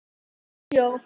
Lifði í sjó.